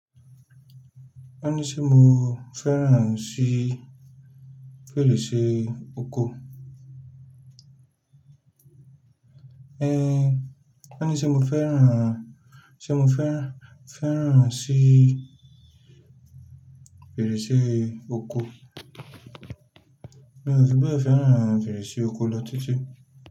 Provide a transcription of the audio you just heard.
Mo fẹ́ràn sí fèrèsé ọkọ̀, wọ́ní sé mo fẹ́ràn sí fèrèsé ọkọ̀, n ò fibẹ fẹ́ràn fèrèsé ọkọ̀ lọ títí.